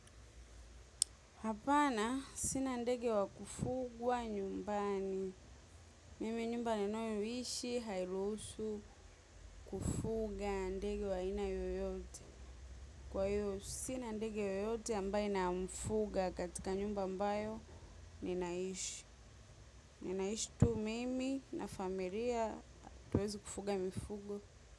Hapana, sina ndege wa kufugwa nyumbani. Mimi nyumba ninayo ishi hairusu kufuga ndege wa aina yoyote. Kwa hiyo, sina ndege yoyote ambaye namfuga katika nyumba ambayo nina ishi. Ninaishi tu mimi na familia hatuwezi kufuga mifugo.